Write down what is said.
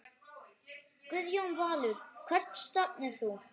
Guðjón Valur Hvert stefnir þú?